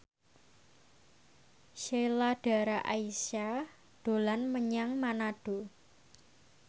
Sheila Dara Aisha dolan menyang Manado